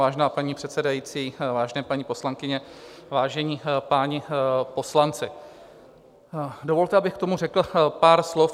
Vážená paní předsedající, vážené paní poslankyně, vážení páni poslanci, dovolte, abych k tomu řekl pár slov.